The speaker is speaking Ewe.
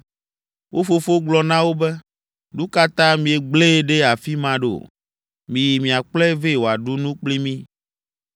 Wo fofo gblɔ na wo be, “Nu ka ta miegblẽe ɖe afi ma ɖo? Miyi miakplɔe vɛ wòaɖu nu kpli mí.”